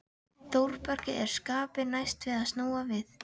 Þórbergi er skapi næst að snúa við.